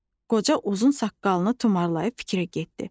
Qoca uzun saqqalını tumarlayıb fikrə getdi.